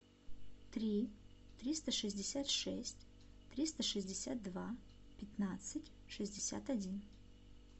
три триста шестьдесят шесть триста шестьдесят два пятнадцать шестьдесят один